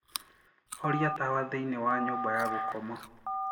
horĩa tawa thĩĩni wa nyumba ya gũkoma